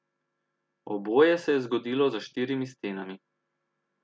Oboje se je zgodilo za štirimi stenami.